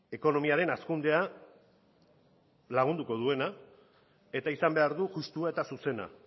ekonomiaren hazkundea lagunduko duena eta izan behar du justua eta zuzena